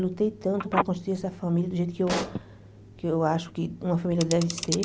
Lutei tanto para construir essa família do jeito que eu que eu acho que uma família deve ser.